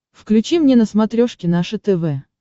включи мне на смотрешке наше тв